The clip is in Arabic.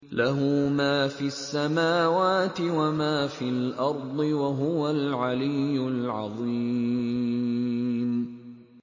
لَهُ مَا فِي السَّمَاوَاتِ وَمَا فِي الْأَرْضِ ۖ وَهُوَ الْعَلِيُّ الْعَظِيمُ